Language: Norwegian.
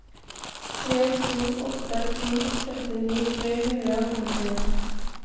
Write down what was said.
tre to åtte to trettini tre hundre og femtien